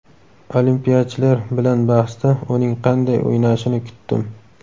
Olimpiyachilar bilan bahsda uning qanday o‘ynashini kutdim.